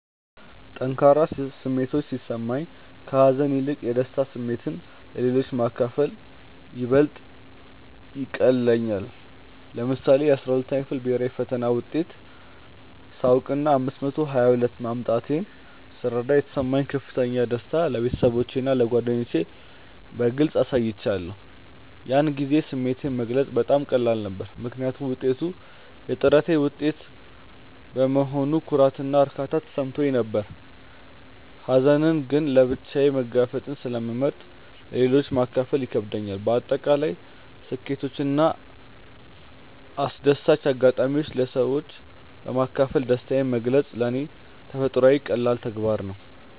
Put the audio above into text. ጠንካራ ስሜቶች ሲሰማኝ፣ ከሀዘን ይልቅ የደስታ ስሜትን ለሌሎች ማካፈል ይበልጥ ይቀልለኛል። ለምሳሌ፣ የ12ኛ ክፍል ብሄራዊ ፈተና ውጤቴን ሳውቅና 522 ማምጣቴን ስረዳ የተሰማኝን ከፍተኛ ደስታ ለቤተሰቦቼና ለጓደኞቼ በግልጽ አሳይቻለሁ። ያን ጊዜ ስሜቴን መግለጽ በጣም ቀላል ነበር፤ ምክንያቱም ውጤቱ የጥረቴ ውጤት በመሆኑ ኩራትና እርካታ ተሰምቶኝ ነበር። ሀዘንን ግን ለብቻዬ መጋፈጥን ስለመርጥ ለሌሎች ማካፈሉ ይከብደኛል። በአጠቃላይ ስኬቶችንና አስደሳች አጋጣሚዎችን ለሰዎች በማካፈል ደስታዬን መግለጽ ለኔ ተፈጥሯዊና ቀላል ተግባር ነው።